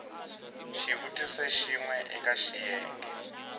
xivutiso xin we eka xiyenge